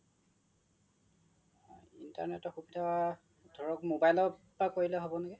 internet ৰ সুবিধা ধৰক mobile ৰ পৰা কৰিলে হব নেকি